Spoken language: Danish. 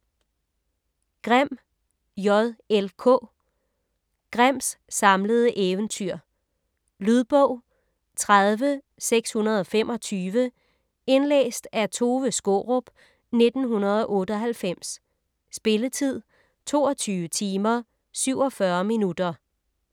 Grimm, J. L. K.: Grimms samlede eventyr Lydbog 30625 Indlæst af Tove Skaarup, 1998. Spilletid: 22 timer, 47 minutter.